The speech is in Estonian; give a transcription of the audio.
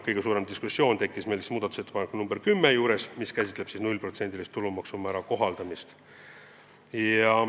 Kõige suurem diskussioon tekkis muudatusettepaneku nr 10 üle, mis käsitleb tulumaksu määra 0% kohaldamist.